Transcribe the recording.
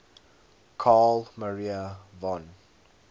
carl maria von